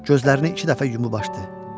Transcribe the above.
Gözlərini iki dəfə yumub açdı.